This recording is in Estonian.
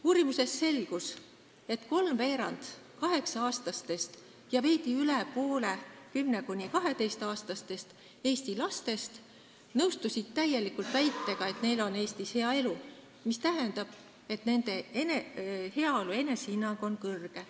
Uurimusest selgus, et kolmveerand 8-aastastest ja veidi üle poole 10–12-aastastest Eesti lastest nõustusid täielikult väitega, et neil on Eestis hea elu, mis tähendab, et nende heaolu enesehinnang on kõrge.